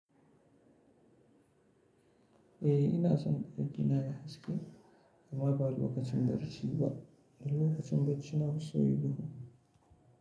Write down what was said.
Eh ina son ɗakina yayi haske amma ba lokacin bacci ba. Dan lokacin bacci nafi so yayi duhu.